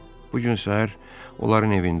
Bu gün səhər onların evində idim.